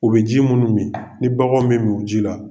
U bɛ ji minnu min ni baganw bɛ min u ji la.